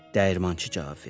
Dəyirmançı cavab verdi.